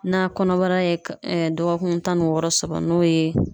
Na kɔnɔbara ye ka dɔgɔkun tan ni wɔɔrɔ sɔrɔ n'o ye